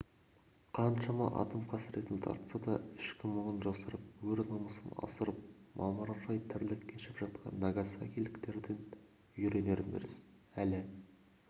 қаншама атом қасіретін тартса да ішкі мұңын жасырып өр намысын асырып мамыражай тірлік кешіп жатқан нагасакиліктерден үйренеріміз әлі